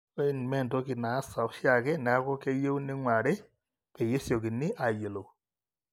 ore in nimeentoki naasa oshiaake neaku keyieu neing'urari peyie esiokini aayiolou